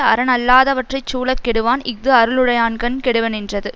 அறனல்லாதவற்றைச் சூழக் கெடுவன் இஃது அருளுடையானுங் கெடுவனென்றது